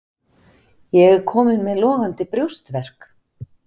Ég er kominn með logandi brjóstverk.